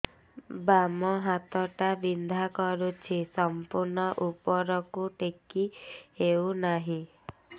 ବାମ ହାତ ଟା ବିନ୍ଧା କରୁଛି ସମ୍ପୂର୍ଣ ଉପରକୁ ଟେକି ହୋଉନାହିଁ